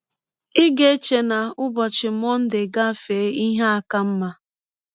“ Ị ga - eche na ụbọchị Mọnde gafee, ihe aka mma.